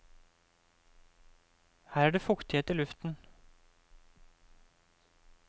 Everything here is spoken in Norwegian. Her er det fuktighet i luften.